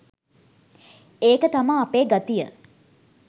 ඒක තමා අපේ ගතිය